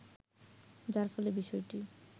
যার ফলে বিষয়টি